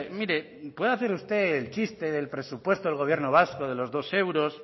mire podrá hacer usted el chiste del presupuesto del gobierno vasco de los dos euros